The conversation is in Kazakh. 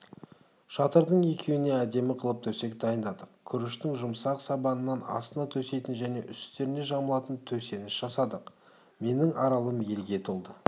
шатырдың екеуіне әдемі қылып төсек дайындадық күріштің жұмсақ сабанынан астына төсейтін және үстеріне жамылатын төсеніш жасадық менің аралым елге толды